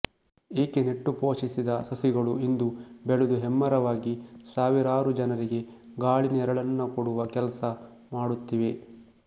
ಈಕೆ ನೆಟ್ಟು ಪೋಷಿಸಿದ ಸಸಿಗಳು ಇಂದು ಬೆಳೆದು ಹೆಮ್ಮರವಾಗಿ ಸಾವಿರಾರು ಜನರಿಗೆ ಗಾಳಿ ನೆರಳನ್ನ ಕೊಡುವ ಕೆಲಸ ಮಾಡುತ್ತಿವೆ